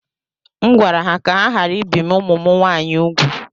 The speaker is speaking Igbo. M gwara ha ka ha ghara ibi ụmụ m nwaanyị úgwù